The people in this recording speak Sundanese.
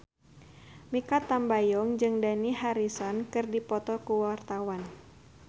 Mikha Tambayong jeung Dani Harrison keur dipoto ku wartawan